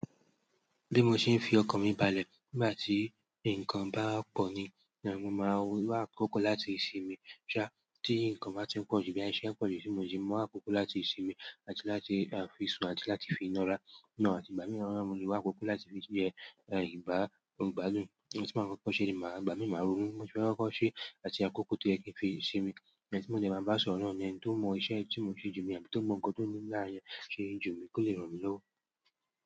Bí mo ṣe ń fi ọkàn mi balẹ̀ nígbà tí nǹkan bá pọ̀ ni ni mo máa wá àkókò láti sinmi. Ṣá, tí nǹkan bá ti ń pọ̀ ju bẹ́ẹ̀ ti iṣẹ́ n pọ̀jù tí mo si mu akóko láti sinmi àti láti fi sùn àti láti fi nárá. Ìná àti ìgbámí mo le wà akókó láti fi ṣe ẹ̀, ẹ̀, ìbá, n o gbádùn. Ohun tí mo máa kọ́ko ṣe ni màá igbámí, màá ronú. Bi moo se máa kokọ́ ṣe àti àkókò to yẹ ki n fi simi. Ẹni tí mo de máa bá sọ̀rọ̀ náà ni ẹni tó mọ iṣẹ́ tí mo n ṣe jù ni, àbí tó mọ nkan to n nimi lára yen ṣe jù ni kó lè ràn mí lọ́wọ́.